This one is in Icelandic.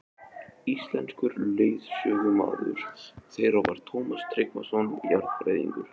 Íslenskur leiðsögumaður þeirra var Tómas Tryggvason jarðfræðingur.